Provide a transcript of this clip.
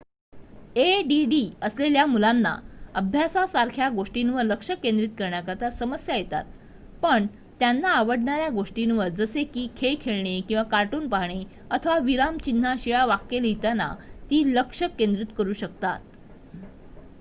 add असलेल्या मुलांना अभ्यासासारख्या गोष्टींवर लक्ष केंद्रित करताना समस्या येतात पण त्यांना आवडणाऱ्या गोष्टींवर जसे की खेळ खेळणे किंवा कार्टून पाहणे अथवा विरामचिन्हांशिवाय वाक्य लिहिताना ती लक्ष केंद्रित करू शकतात